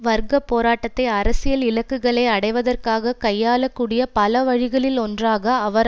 வர்க்க போராட்டத்தை அரசியல் இலக்குகளை அடைவதற்காக கையாளக் கூடிய பல வழிகளில் ஒன்றாக அவர்